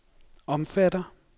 omfatter